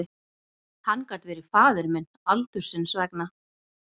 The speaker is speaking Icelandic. Hann gat verið faðir minn aldursins vegna.